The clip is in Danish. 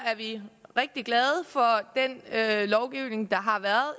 er vi rigtig glade for den lovgivning der har været